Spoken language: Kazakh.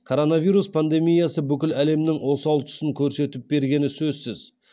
коронавирус пандемиясы бүкіл әлемнің осал тұсын көрсетіп бергені сөзсіз